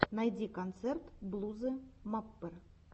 найти концерт блузы маппер